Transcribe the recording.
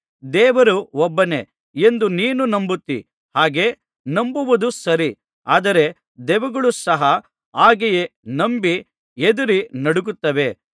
ದೇವರು ಒಬ್ಬನೇ ಎಂದು ನೀನು ನಂಬುತ್ತೀ ಹಾಗೆ ನಂಬುವುದು ಸರಿ ಆದರೆ ದೆವ್ವಗಳು ಸಹ ಹಾಗೆಯೇ ನಂಬಿ ಹೆದರಿ ನಡುಗುತ್ತವೆ